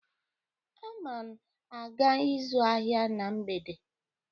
Ana m aga ịzụ ahịa na mgbede